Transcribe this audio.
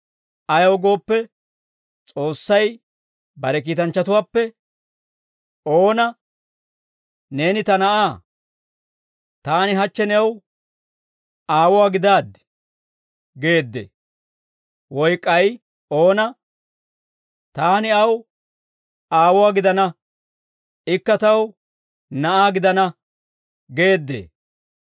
Ayaw gooppe, S'oossay bare kiitanchchatuwaappe oona, «Neeni ta Na'aa; taani hachche new aawuwaa gidaaddi» geeddee? Woy k'ay oona, «Taani aw aawuwaa gidana; ikka taw na'aa gidana» geeddee?